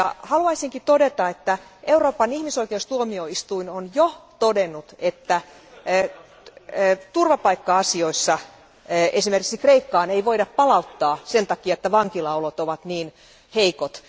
Haluaisinkin todeta, että Euroopan ihmisoikeustuomioistuin on jo todennut, että turvapaikka asioissa esimerkiksi Kreikkaan ei voida palauttaa sen takia, että vankilaolot ovat niin heikot.